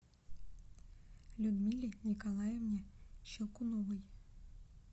людмиле николаевне щелкуновой